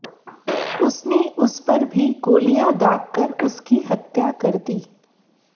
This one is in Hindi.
उसने उस पर भी गोलियां दागकर उसकी हत्या कर दी